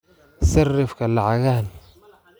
sarrifka lacagahan